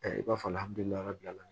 i b'a fɔ